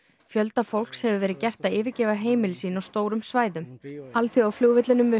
fjölda fólks hefur verið gert að yfirgefa heimili sín á stórum svæðum alþjóðaflugvellinum við